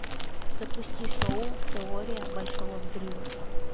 запусти шоу теория большого взрыва